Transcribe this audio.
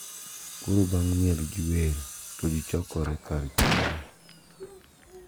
Koro bang` miel gi wer to ji chokore kar chiemo.